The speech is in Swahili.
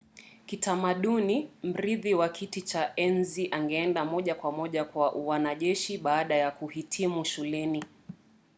kitamaduni mrithi wa kiti cha enzi angeenda moja kwa moja kwa uanajeshi baada ya kuhitimu shuleni